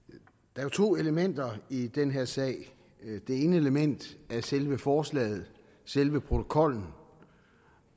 der er to elementer i den her sag det ene element er selve forslaget selve protokollen